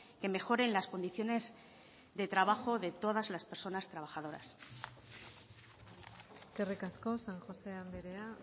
que mejoren las condiciones de trabajo de todas las personas trabajadoras eskerrik asko san josé andrea